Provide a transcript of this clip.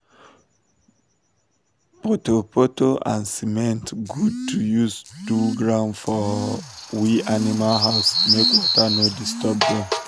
poto um poto and cement good um to use do ground for um we animal house make water no disturb them